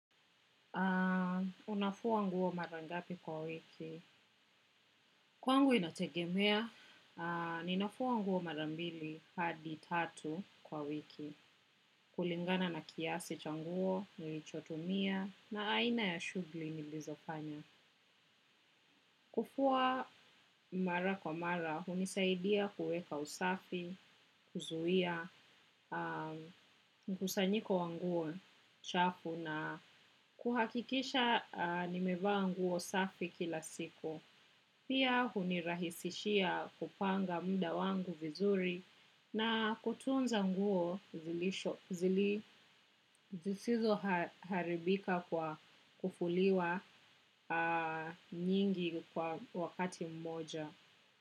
Unafua nguo mara ngapi kwa wiki. Kwangu inategemea, ninafua nguo mara mbili hadi tatu kwa wiki. Kulingana na kiasi cha nguo, nilichotumia na aina ya shughuli nilizofanya. Kufua mara kwa mara, hunisaidia kuweka usafi, kuzuia, mkusanyiko wa nguo chafu na kuhakikisha nimevaa nguo safi kila siku. Pia hunirahisishia kupanga muda wangu vizuri na kutunza nguo zisizo haribika kwa kufuliwa nyingi kwa wakati mmoja.